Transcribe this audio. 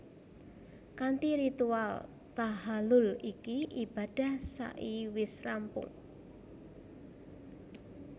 Kanthi ritual tahhalul iki ibadah sa i wis rampung